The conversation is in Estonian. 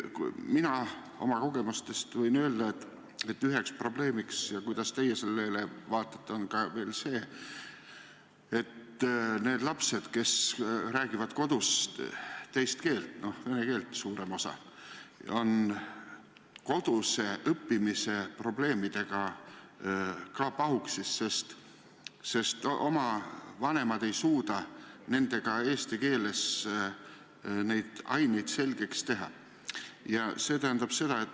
Mina oma kogemustest võin öelda, et üks probleem on see, et need lapsed, kes räägivad kodus teist keelt – enamik siis vene keelt –, on koduse õppimisega hädas, sest vanemad ei suuda neid eesti keeles antavate ainete puhul aidata.